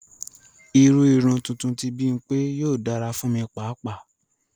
Ìrù ìrun tuntun ti Bimpe yóò dara fun mi pàapàa.